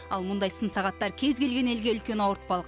ал мұндай сын сағаттар кез келген елге үлкен ауыртпалық